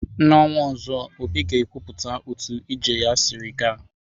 N'ọnwa ọzọ, obi ga ekwupụta otu ije ya sịrị ga.